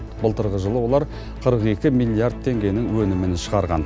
былтырғы жылы олар қырық екі миллиард теңгенің өнімін шығарған